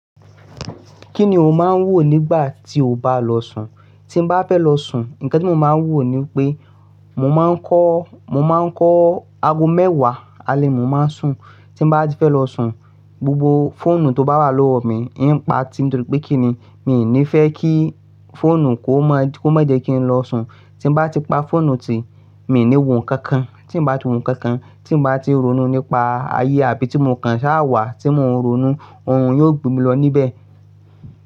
Kí ni o máa ń wò nígbà tí o bá lọ sùn? Tí n bá fẹ́ lọ sùn, nǹkan tí mó máa ń wò ni pé mo máa ń kọ́, mo máa ń kọ́ ago mẹ́wàá alẹ́ mo máa ń sùn. Tí n bá ti fẹ́ lọ sùn, gbògbò fóònù tó bá wà lówó mi, ì ń pa á, toórípé kí ni, mi ò ní fẹ́ kí fóònù kó mọ̀, kó mọ̀ jẹ́ kí n lọ sùn. Tí mo bá ti pa fóònù ti, mi ò ní wò ǹkan kan. Tí n bá ti wò ǹkàn kàn, tí mó bá ti rónú nípa ayé àbí tí mó kàn ṣá wà tí mo ń ronú, ohun yóò gbé mi lọ níbẹ̀